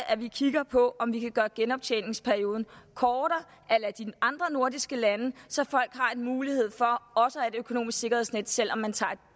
at vi kigger på om vi kan gøre genoptjeningsperioden kortere a la de andre nordiske lande så folk har en mulighed for også at økonomisk sikkerhedsnet selv om de tager et